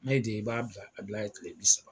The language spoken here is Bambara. N'a y'i diya, i b'a bila yen kile bi saba